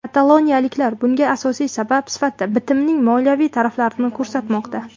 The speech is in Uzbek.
Kataloniyaliklar bunga asosiy sabab sifatida bitimning moliyaviy taraflarini ko‘rsatmoqda.